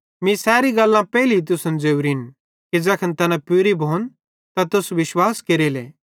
मीं सैरी गल्लां पेइले तुसन ज़ोरिन कि ज़ैखन तैना पूरी भोन त तुस विश्वास केरेले